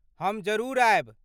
हम जरूर आयब।